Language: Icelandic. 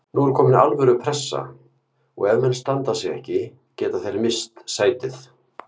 Nú er komin alvöru pressa og ef menn standa sig ekki geta þeir misst sætið.